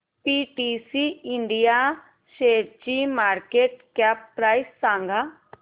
PTC India शेअरची market cap price सांगा